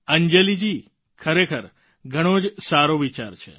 અંજલિજી ખરેખર ઘણો જ સારો વિચાર છે